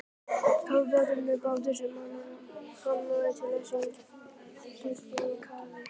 Kafbátur er bátur sem er hannaður til að sigla í kafi.